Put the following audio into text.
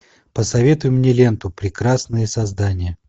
посоветуй мне ленту прекрасные создания